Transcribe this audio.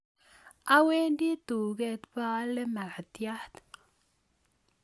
Awendi duket baale makatiat